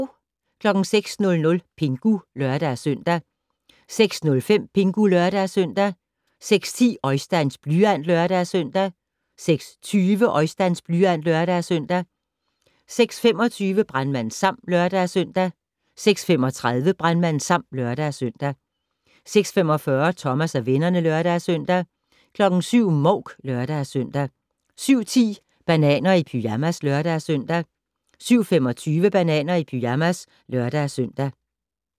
06:00: Pingu (lør-søn) 06:05: Pingu (lør-søn) 06:10: Oisteins blyant (lør-søn) 06:20: Oisteins blyant (lør-søn) 06:25: Brandmand Sam (lør-søn) 06:35: Brandmand Sam (lør-søn) 06:45: Thomas og vennerne (lør-søn) 07:00: Mouk (lør-søn) 07:10: Bananer i pyjamas (lør-søn) 07:25: Bananer i pyjamas (lør-søn)